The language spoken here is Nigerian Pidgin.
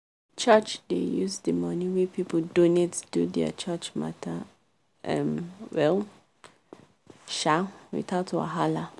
church dey use the money wey people donate do their church matter um well um without wahala.